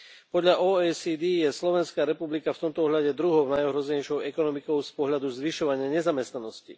Podľa OECD je Slovenská republika v tomto ohľade druhou najohrozenejšou ekonomikou z pohľadu zvyšovania nezamestnanosti.